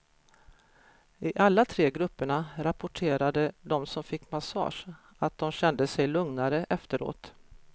I alla tre grupperna rapporterade de som fick massage att de kände sig lugnare efteråt.